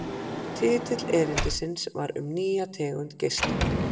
Titill erindisins var Um nýja tegund geisla.